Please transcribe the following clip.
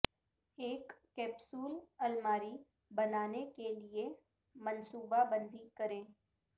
ایک کیپسول الماری بنانے کے لئے منصوبہ بندی کریں